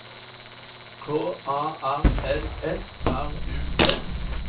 K A R L S R U D